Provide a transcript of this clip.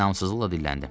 İnamsızlıqla dilləndim.